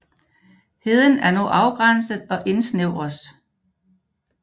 Heden er nu afgrænset og indsnævres